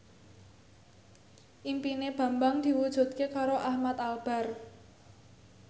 impine Bambang diwujudke karo Ahmad Albar